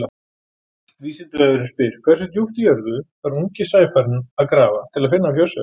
Vísindavefurinn spyr: Hversu djúpt í jörðu þarf ungi sæfarinn að grafa til að finna fjársjóðinn?